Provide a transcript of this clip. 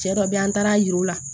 Cɛ dɔ be yen an taara a yira u la